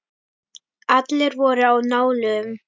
Allir voru á nálum.